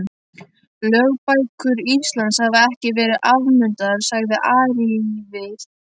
Lögbækur Íslands hafa ekki verið afnumdar, sagði Ari ívið hærra.